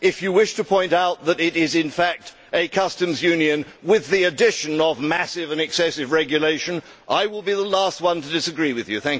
If you wish to point out that it is, in fact, a customs union with the addition of massive and excessive regulation, I will be the last to disagree with you.